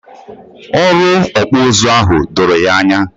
Ọrụ Okpu uzu ahụ doro ya ányá